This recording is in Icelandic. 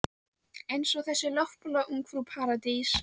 Eins og þessi loftbóla Ungfrú Paradís.